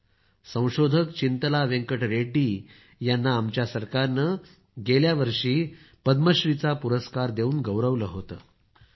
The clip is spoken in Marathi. अशा संशोधक वेंकट रेड्डी यांना आमच्या सरकारनं गेल्या वर्षी पद्मश्रीचा पुरस्कार देऊन गौरवलं होतं